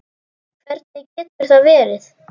Hvernig getur það verið?